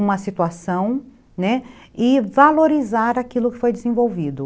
uma situação, né, e valorizar aquilo que foi desenvolvido.